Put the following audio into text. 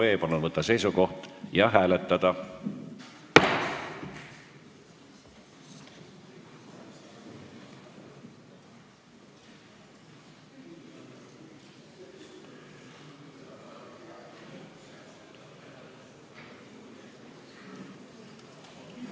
Palun võtta seisukoht ja hääletada!